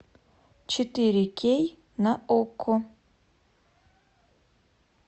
четыре кей на окко